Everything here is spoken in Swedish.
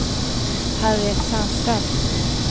Harriet Sandström